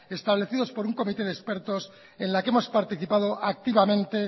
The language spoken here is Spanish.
establecidos por un comité de expertos en la que hemos participado activamente